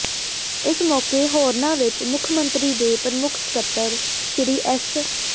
ਇਸ ਮੌਕੇ ਹੋਰਨਾਂ ਵਿੱਚ ਮੁੱਖ ਮੰਤਰੀ ਦੇ ਪ੍ਰਮੁੱਖ ਸਕੱਤਰ ਸ੍ਰੀ ਐਸ